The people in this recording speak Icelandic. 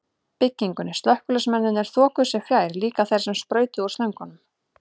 byggingunni, slökkviliðsmennirnir þokuðu sér fjær, líka þeir sem sprautuðu úr slöngunum.